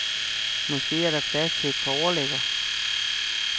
Måske er der plads til et par overlæger.